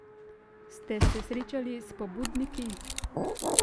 Ste se srečali s pobudniki?